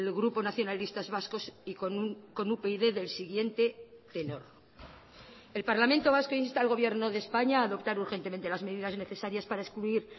grupo nacionalistas vascos y con upyd del siguiente tenor el parlamento vasco insta al gobierno de españa a adoptar urgentemente las medidas necesarias para excluir